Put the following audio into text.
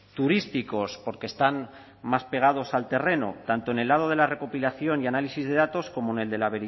turísticos porque están más pegados al terreno tanto en el lado de la recopilación y análisis de datos como en el de la